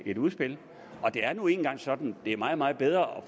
et udspil og det er nu engang sådan at det er meget meget bedre at